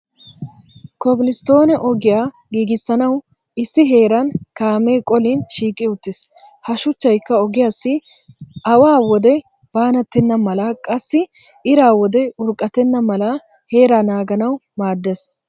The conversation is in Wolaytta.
Koblisttoonee ogiya giiggissanawu issi heeran kaamee qolin shiiqi uttis. Ha shuchchaykka ogiyaassi awa wode baanattenna mala qassi ira wode urqqatenna mala heera naaganawu maaddes.